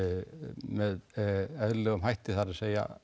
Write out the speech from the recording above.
með eðlilegum hætti það er